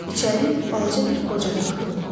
İçəri balaca bir qoca daxil oldu.